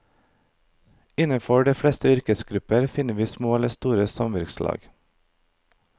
Innenfor de fleste yrkesgrupper finner vi små eller store samvirkelag.